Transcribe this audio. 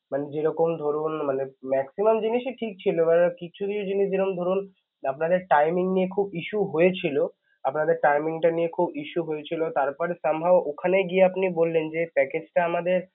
মানে যেরকম ধরুন মানে maximum জিনিসই ঠিক ছিল দেখাযাচ্ছে কিছু জিনিস যেমন ধরুন আপনাদের timing নিয়ে খুব issue হয়েছিল, আপনাদের timing টা নিয়ে খুব issue হয়েছিল তারপরে somehow ওখানে গিয়ে আপনি বললেন যে package টা আমাদের